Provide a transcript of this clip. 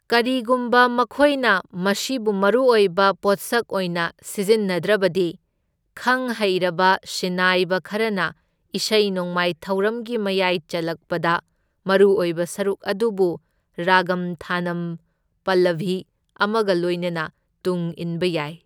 ꯀꯔꯤꯒꯨꯝꯕ ꯃꯈꯣꯏꯅ ꯃꯁꯤꯕꯨ ꯃꯔꯨ ꯑꯣꯏꯕ ꯄꯣꯠꯁꯛ ꯑꯣꯏꯅ ꯁꯤꯖꯤꯟꯅꯗ꯭ꯔꯕꯗꯤ, ꯈꯪꯍꯩꯔꯕ ꯁꯤꯟꯅꯥꯏꯕ ꯈꯔꯅ ꯏꯁꯩ ꯅꯣꯡꯃꯥꯏ ꯊꯧꯔꯝꯒꯤ ꯃꯌꯥꯏ ꯆꯜꯂꯛꯄꯗ ꯃꯔꯨ ꯑꯣꯏꯕ ꯁꯔꯨꯛ ꯑꯗꯨꯕꯨ ꯔꯥꯒꯝ ꯊꯥꯅꯝ ꯄꯜꯂꯚꯤ ꯑꯃꯒ ꯂꯣꯏꯅꯅ ꯇꯨꯡ ꯏꯟꯕ ꯌꯥꯏ꯫